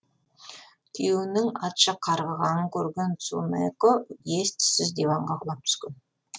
күйеуінің атша қарғығанын көрген цунэко ес түссіз диванға құлап түскен